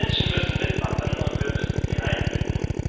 Die Menschen müssen mitmachen, und wir müssen sie einbinden.